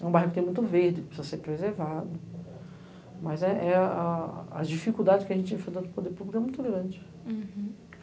É um bairro que tem muito verde, precisa ser preservado, mas as dificuldades que a gente enfrentou no Poder Público eram muito grandes.